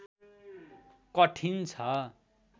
कठिन छ